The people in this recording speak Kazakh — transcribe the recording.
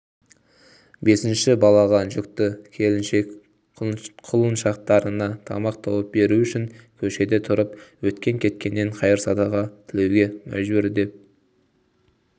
бесінші балаға жүкті келіншек құлыншақтарына тамақ тауып беру үшін көшеде тұрып өткен-кеткеннен қайыр-садақа тілуеге мәжбүр деп